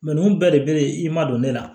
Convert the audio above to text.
nunnu bɛɛ de be i ma don ne la